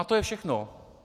A to je všechno.